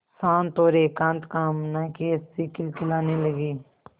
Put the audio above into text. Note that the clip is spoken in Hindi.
शांत और एकांत कामना की हँसी खिलखिलाने लगी